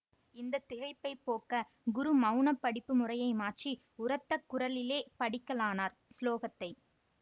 இந்த திகைப்பைப் போக்க குரு மௌனப் படிப்பு முறையை மாற்றி உரத்த குரலிலே படிக்கலானார் சுலோகத்தை